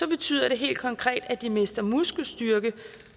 betyder det helt konkret at de mister muskelstyrke